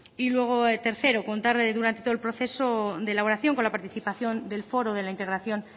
y luego tercero contar durante todo el proceso de elaboración con la participación del foro de la integración